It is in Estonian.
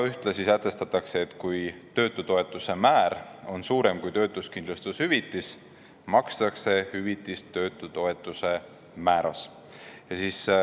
Ühtlasi sätestatakse, et kui töötutoetuse määr on suurem kui töötuskindlustushüvitis, makstakse hüvitist töötutoetuse määras.